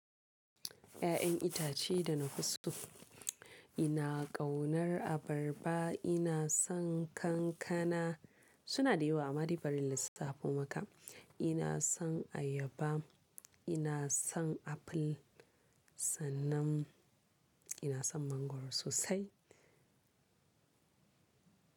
Ƴaƴan itace da na fi so, ina ƙaunar abarba, ina son kankana, suna da yawa amma dai bari in lissafo maka. Ina son ayaba, ina son aful, sanan ina son mangwaro sosai.